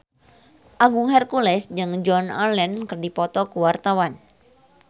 Agung Hercules jeung Joan Allen keur dipoto ku wartawan